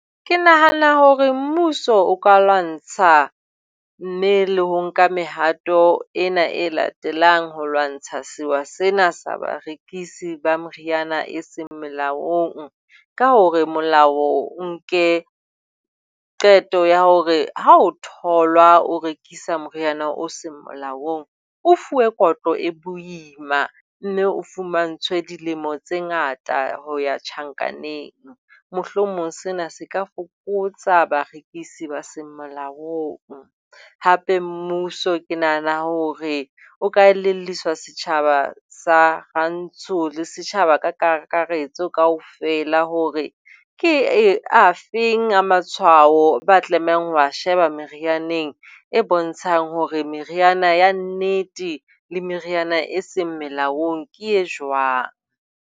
Ke nahana hore mmuso o ka lwantsha, mme le ho nka mehato ena e latelang ho lwantsha sewa sena sa barekisi ba meriana e seng molaong. Ka hore molao o nke qeto ya hore ha ho tholwa o rekisa moriana o se molaong o fuwe kotlo e boima mme o fumantshwe dilemo tse ngata ho ya tjhankaneng. Mohlomong sena se ka fokotsa barekisi ba seng molaong hape mmuso ke nahana hore o ka elelliswa setjhaba sa Rantsho le setjhaba ka kakaretso kaofela hore ke afeng a matshwao eo ba tlamehang ho e sheba merianeng e bontshang hore meriana ya nnete le meriana e seng molaong ke e jwang.